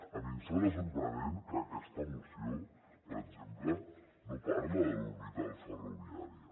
a mi em sembla sorprenent que aquesta moció per exemple no parli de l’orbital ferroviària